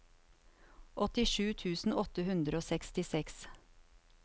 åttisju tusen åtte hundre og sekstiseks